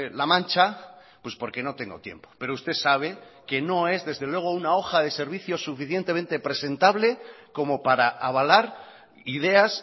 la mancha pues porque no tengo tiempo pero usted sabe que no es desde luego una hoja de servicios suficientemente presentable como para avalar ideas